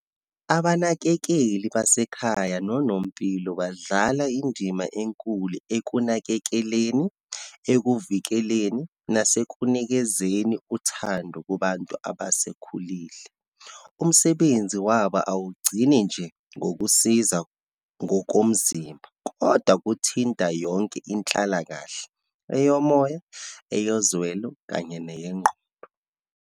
Abanakekeli basekhaya nonompilo, badlala indima enkulu ekunakekeleni, ekuvikeleni, nasekunikezeni uthando kubantu abasekhulile. Umsebenzi wabo awugcini nje ngokusiza ngokomzimba, kodwa kuthinta yonke inhlalakahle, eyomoya, eyozwelo, kanye neyengqondo.